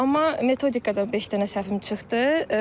Amma metodikada beş dənə səhvim çıxdı.